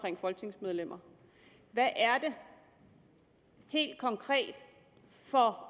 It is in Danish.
folketingsmedlemmer hvad er det helt konkret for